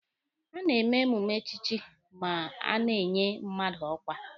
A na-eme emume echichi ma a na-enye mmadụ ọkwa.